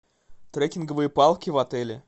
трекинговые палки в отеле